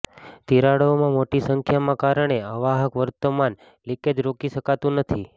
તિરાડો મોટી સંખ્યામાં કારણે અવાહક વર્તમાન લિકેજ રોકી શકતું નથી